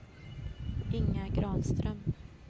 Inga Granström